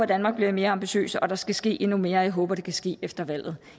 danmark bliver mere ambitiøs og der skal ske endnu mere jeg håber at det kan ske efter valget